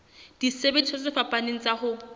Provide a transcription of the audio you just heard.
disebediswa tse fapaneng tsa ho